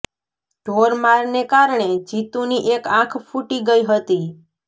ઢોર મારને કારણે જીતુની એક આંખ ફૂટી ગઇ હતી